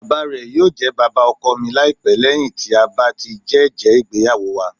Bàbá rẹ yóò jẹ bàbá ọkọ mi laipẹ lẹhin ti a ba ti jẹ ẹjẹ igbeyawo wa.